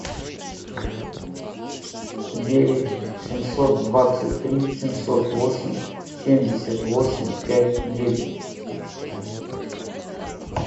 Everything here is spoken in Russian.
девять семьсот двадцать три семьсот восемь семьдесят восемь пять девять